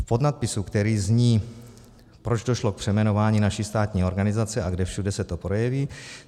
V podnadpisu, který zní Proč došlo k přejmenování naší státní organizace a kde všude se to projeví?